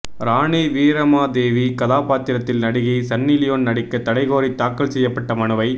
ராணி வீரமாதேவி கதாபாத்திரத்தில் நடிகை Sunny Leone நடிக்க தடை கோாி தாக்கல் செய்யப்பட்ட மனுவை